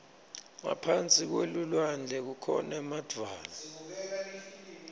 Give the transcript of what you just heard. ngaphasi kwelulwandle kukhona emadvwala